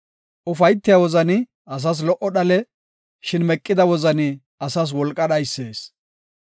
Ufaytiya wozani asas lo77o dhale; shin meqida wozani asas wolqa dhaysees.